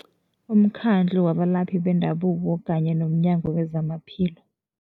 Umkhandlu wabalaphi bendabuko kanye nomNyango wezamaPhilo.